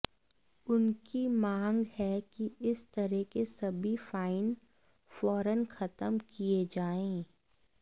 उनकी मांग है कि इस तरह के सभी फाइन फौरन खत्म किये जायें